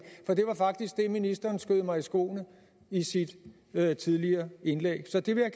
ministeren skød mig i skoene i sit tidligere indlæg så det vil